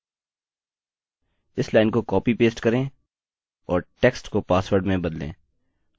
इस लाइन को कॉपीपेस्ट करें और text को password में बदलें